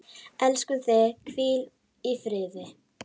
Elskum þig, hvíl í friði.